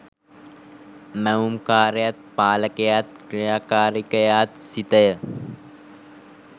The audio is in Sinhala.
මැවුම්කාරයාත්, පාලකයාත්, ක්‍රියාකාරිකයාත් සිතය.